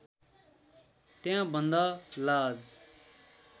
त्यहाँ भन्दा लाज